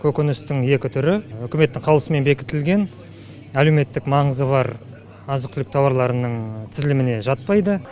көкөністің екі түрі үкіметтің қаулысымен бекітілген әлеуметтік маңызы бар азық түлік тауарларының тізіліміне жатпайды